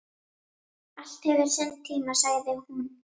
Allt hefur sinn tíma, sagði hún.